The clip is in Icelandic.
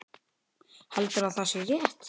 Heldur að sé rétt.